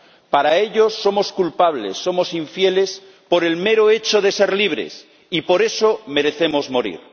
Para ellos somos culpables, somos infieles por el mero hecho de ser libres, y por eso merecemos morir.